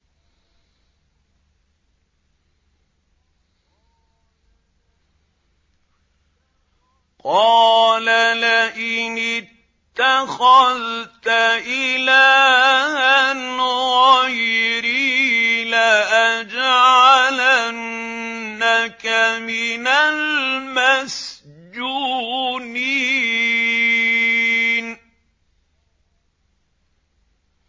قَالَ لَئِنِ اتَّخَذْتَ إِلَٰهًا غَيْرِي لَأَجْعَلَنَّكَ مِنَ الْمَسْجُونِينَ